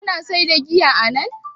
Ana saida giya anan?